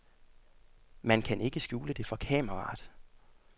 Man kan ikke skjule det for kameraet.